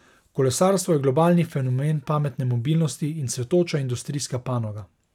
Kolesarstvo je globalni fenomen pametne mobilnosti in cvetoča industrijska panoga.